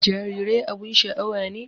Jarirai abun sha'awa ne